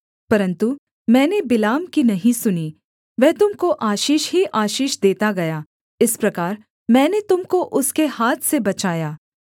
परन्तु मैंने बिलाम की नहीं सुनी वह तुम को आशीष ही आशीष देता गया इस प्रकार मैंने तुम को उसके हाथ से बचाया